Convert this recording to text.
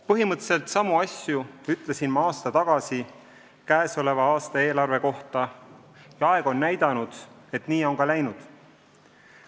Põhimõtteliselt samu asju ütlesin ma aasta tagasi käesoleva aasta eelarve kohta ja aeg on näidanud, et nii on ka läinud.